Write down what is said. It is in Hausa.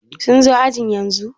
sun zo ajin yanzu?